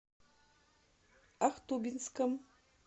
ахтубинском